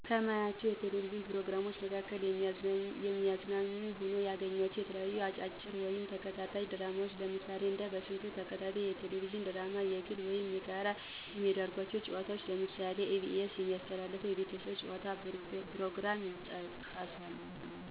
ከማያቸው የቴሌቪዥን ፕሮግራሞች መካከል የሚያዝናኑ ሆነው ያገኘኋቸው የተለያዩ አጫጭር ወይም ተከታታይ ድራማዎች ለምሳሌ እንደ በስንቱ ተከታታይ የቴሌቪዥን ድራማ፣ በግል ወይም በጋራ የሚደረጉ ጨዋታዎች ለምሳሌ በኢ.ቢ.ኤስ የሚተላለፍ የቤተሰብ ጨዋታ ፕሮግራም ይጠቀሳሉ።